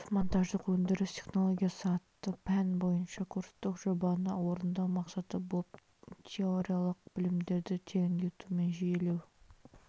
құрылыс-монтаждық өндіріс технологиясы атты пән бойынша курстық жобаны орындау мақсаты болып теориялық білімдерді тереңдету мен жүйелеу